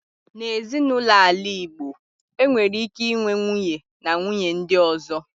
Na Ezinụlọ ala Igbo, enwere ike inwe nwunye, na nwunye ndi ozo.